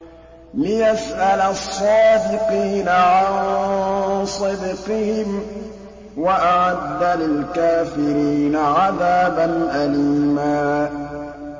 لِّيَسْأَلَ الصَّادِقِينَ عَن صِدْقِهِمْ ۚ وَأَعَدَّ لِلْكَافِرِينَ عَذَابًا أَلِيمًا